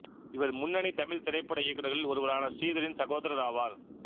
இவர் முன்னணி தமிழ்த் திரைப்பட இயக்குநர்களில் ஒருவரான ஸ்ரீதரின் சகோதரர் ஆவார்